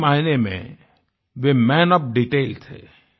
सही मायने में वे मन ओएफ डिटेल थे